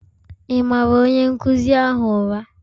Ị maara onye nkụzi ahụ ụra?